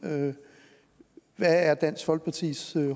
hvad er dansk folkepartis